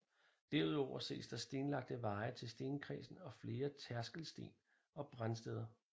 Derudover ses der stenlagte veje til stenkredsen og flere tærskelsten og brandsteder